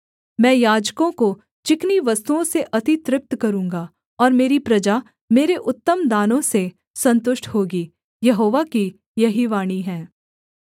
मैं याजकों को चिकनी वस्तुओं से अति तृप्त करूँगा और मेरी प्रजा मेरे उत्तम दानों से सन्तुष्ट होगी यहोवा की यही वाणी है